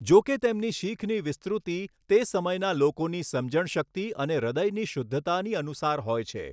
જો કે તેમની શીખની વિસ્તૃિત તે સમયના લોકોની સમજણ શક્તિ અને હૃદયની શુદ્ધતાની અનુસાર હોય છે.